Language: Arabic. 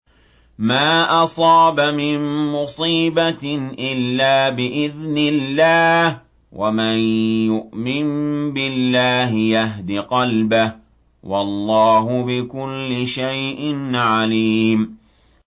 مَا أَصَابَ مِن مُّصِيبَةٍ إِلَّا بِإِذْنِ اللَّهِ ۗ وَمَن يُؤْمِن بِاللَّهِ يَهْدِ قَلْبَهُ ۚ وَاللَّهُ بِكُلِّ شَيْءٍ عَلِيمٌ